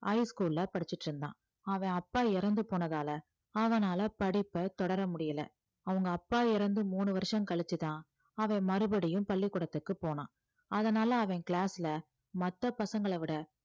higher school ல படிச்சுட்டு இருந்தான் அவன் அப்பா இறந்து போனதால அவனால படிப்பை தொடர முடியல அவங்க அப்பா இறந்து மூணு வருஷம் கழிச்சுதான் அவன் மறுபடியும் பள்ளிக்கூடத்துக்கு போனான் அதனால அவன் class ல மத்த பசங்களை விட